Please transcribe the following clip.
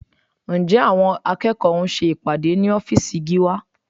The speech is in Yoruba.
Ǹjẹ́ àwọn akẹ́kọ̀ọ́ ń ṣe ìpàdé ní ọ́fíìsì Gíwá?